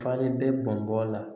Fale bɛ bɔnbɔ la